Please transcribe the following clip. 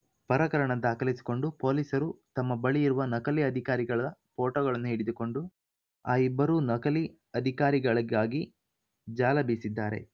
ಪ್ರಕರಣ ದಾಖಲಿಸಿಕೊಂಡ ಪೊಲೀಸರು ತಮ್ಮ ಬಳಿ ಇರುವ ನಕಲಿ ಅಧಿಕಾರಿಗಳ ಫೋಟೋಗಳನ್ನು ಹಿಡಿದುಕೊಂಡು ಆ ಇಬ್ಬರೂ ನಕಲಿ ಅಧಿಕಾರಿಗಳಿಗಾಗಿ ಜಾಲ ಬೀಸಿದ್ದಾರೆ